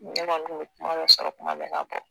Ne kɔni kun be kumadɔ sɔrɔ kumabɛɛ k'a bɔ